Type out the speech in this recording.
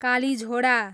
Kalijhora